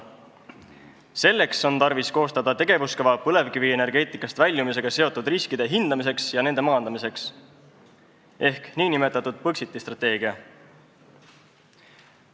Selleks on tarvis koostada tegevuskava põlevkivienergeetikast väljumisega seotud riskide hindamiseks ja nende maandamiseks ehk nn Põxiti strateegia.